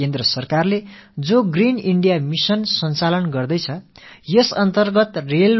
மத்திய அரசும் தன் பங்குக்கு கிரீன் இந்தியா மிஷன் பசுமை இந்தியா இயக்கத்தை செயல்படுத்தி வருகிறது